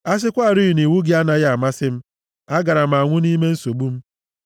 A sịkwarị na iwu gị anaghị amasị m, agaara m anwụ nʼime nsogbu m.